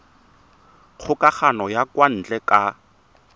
kgokagano ya kwa ntle ka